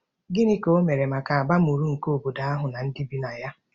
Gịnị ka o mere maka abamuru nke obodo ahụ na ndị bi na ya?